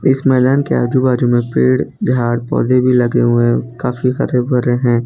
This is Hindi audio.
इस मैदान के आजू बाजू में पेड़ झाड़ पौधे भी लगे हुए हैं काफी हरे भरे हैं।